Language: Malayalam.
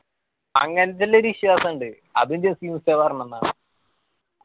അങ്ങനത്തെ ഇല്ലൊരു വിശ്വാസിണ്ട്. അത് ജസീം ഉസ്താദ് പറഞ്ഞന്നതാ